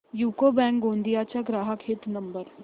UCO bank Gondia चा ग्राहक हित नंबर